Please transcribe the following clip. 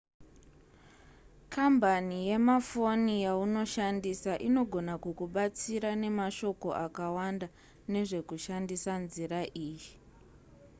kambani yemafoni yaunoshandisa inogona kukubatsira nemashoko akawanda nezvekushandisa nzira iyi